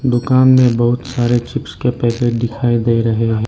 दुकान में बहुत सारे चिप्स के पैकेट दिखाई दे रहे हैं।